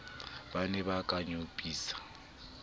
ba ne ba ka nyopisa